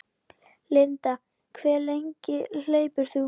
Linda: Hve langt hleypur þú?